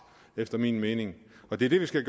efter min mening det er det vi skal